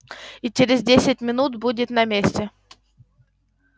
и через десять минут будем на месте